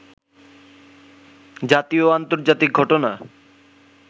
জাতীয় ও আন্তর্জাতিক ঘটনা